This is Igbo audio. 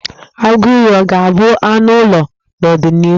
Agụiyi ọ ga-abụ anụ ụlọ n'ọdịnịhu?